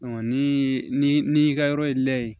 ni n'i y'i ka yɔrɔ ye lɛ